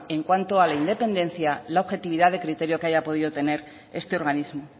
en cuanto a la independencia la objetividad de criterio que haya podido tener este organismo